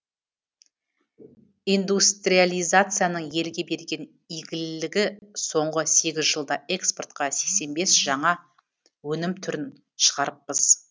индустриализацияның елге берген игілігі соңғы сегіз жылда экспортқа сексен бес жаңа өнім түрін шығарыппыз